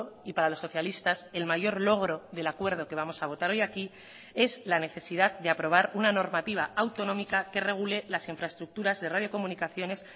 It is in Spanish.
y para los socialistas el mayor logro del acuerdo que vamos a votar hoy aquí es la necesidad de aprobar una normativa autonómica que regule las infraestructuras de radiocomunicaciones